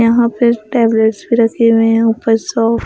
यहां पे टेबलेट्स भी रखे हुए हैं ऊपर सॉफ्ट --